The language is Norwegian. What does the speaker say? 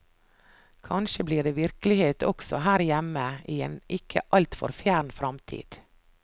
Kanskje blir det virkelighet også her hjemme, i en ikke altfor fjern fremtid.